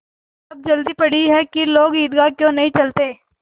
अब जल्दी पड़ी है कि लोग ईदगाह क्यों नहीं चलते